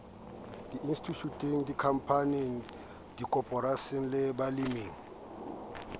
institjhuteng dikhampaning dikoporasing le baleming